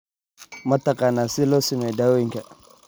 Ma taqaanaa sida loo sameeyo dawooyinka?